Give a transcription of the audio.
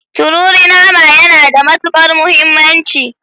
Tururi nama yana da matukar muhimmanci.